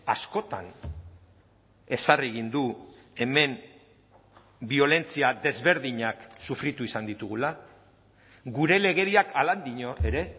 askotan ezarri egin du hemen biolentzia desberdinak sufritu izan ditugula gure legediak halan dio ere